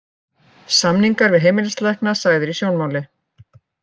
Samningar við heimilislækna sagðir í sjónmáli